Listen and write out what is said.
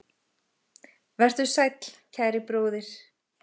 Vertu sæll, kæri bróðir.